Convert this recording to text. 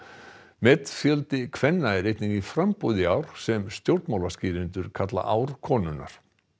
metfjöldi kvenna er einnig í framboði í ár sem stjórnmálaskýrendur kalla ár konunnar